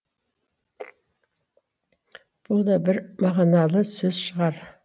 бұл да бір мағыналы сөз шығар